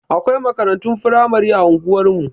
Akwai makarantun firamari a unguwar mu.